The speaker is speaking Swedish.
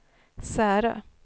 Särö